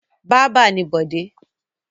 Bábà ni Bọ̀dé.